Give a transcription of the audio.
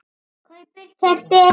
kaupir- keypti